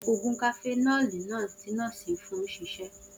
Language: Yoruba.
Oògùn cafenol náà ti nọ́ọ́sì fún ṣiṣẹ